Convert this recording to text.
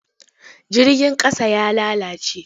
Jirgin ƙasan ya lalace.